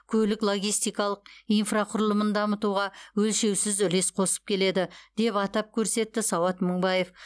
көлік логистикалық инфрақұрылымын дамытуға өлшеусіз үлес қосып келеді деп атап көрсетті сауат мыңбаев